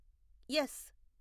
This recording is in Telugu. ఎస్